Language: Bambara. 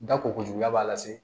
Da koko juguya b'a la se